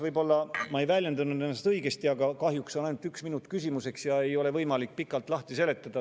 Võib-olla ma ei väljendanud ennast õigesti, aga kahjuks on küsimiseks ainult üks minut ja ei ole võimalik pikalt seletada.